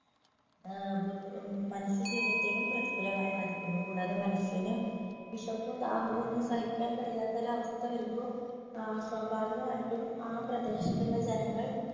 ഏർ ബു ഉം മനുഷ്യജീവിതത്തെയും പ്രതികൂലമായി ബാധിക്കുന്നു കൂടാതെ മനുഷ്യന് വിശപ്പും ദാഹവും ഒന്നും സഹിക്കാൻ കഴിയാത്ത ഒരവസ്ഥ വരുമ്പോ ഏർ സ്വാഭാവികമായിട്ടും ആ പ്രദേശത്തുള്ള ജനങ്ങൾ